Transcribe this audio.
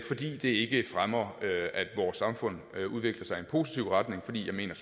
fordi det ikke fremmer at vores samfund udvikler sig i en positiv retning for jeg mener